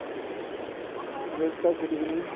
নিৰজ দা good evening